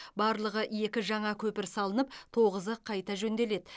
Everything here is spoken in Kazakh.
барлығы екі жаңа көпір салынып тоғызы қайта жөнделеді